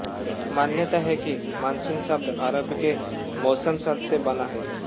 मान्यता है कि मानसून शब्द अरबी के मौसम शब्द से बना है